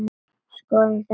Skoðum þetta.